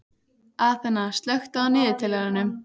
Aþena, slökktu á niðurteljaranum.